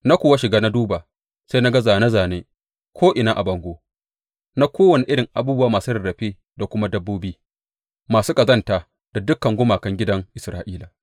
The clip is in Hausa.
Na kuwa shiga na duba, sai na ga zāne zāne ko’ina a bangon na kowane irin abubuwa masu rarrafe da kuma dabbobi masu ƙazanta da dukan gumakan gidan Isra’ila.